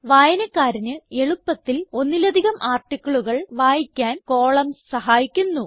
വായനക്കാരന് എളുപ്പത്തിൽ ഒന്നിലധികം articleകൾ വായിക്കാൻ കോളംൻസ് സഹായിക്കുന്നു